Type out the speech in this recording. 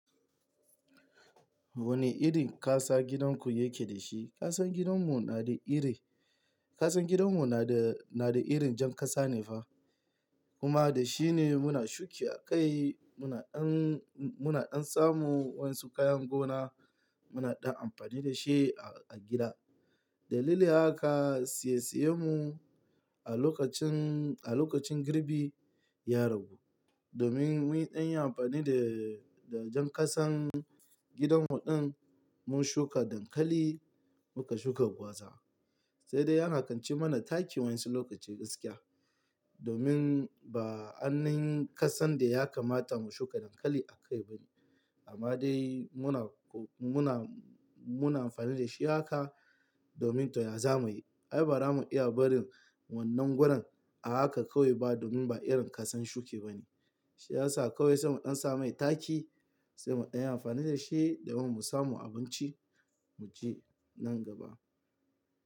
Wane irin ƙasa gidanku yake da shi? Ƙasan gidanmu na da ire, ƙasan gidanmu na da, na da irin jan ƙasa ne fa. Kuma da shi ne muna shuki a kai, muna ɗan, muna ɗan samu wasu kayan gona muna ɗan amfani da shi a, a gida. Dalili haka, saye saye mu a lokacin, a lokacin girbi ya ragu. Domin mun ɗan yi amfani da, da jan ƙasan gidanmu ɗin, mun shuka dankali, muka shuka gwaza. Sai dai ya kan ci mana taki wa'in su lokaci gaskiya. Domin ba ainin ƙasan da ya kamata mu shuka dankali a kai ba ne. Amma dai muna, muna, muna amfani da shi haka domin to ya za mu yi? Ai bara mun iya barin wannan gurin a haka kawai ba domin ba irin ƙasan shuki ba ne. Shi ya sa kawai sai mu ɗan sa mai taki sai mu ɗan yi amfani da shi domin mu samu abinci mu ci nan gaba.